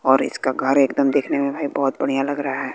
और इसका घर एकदम देखने में भाई बहुत बढ़िया लग रहा है।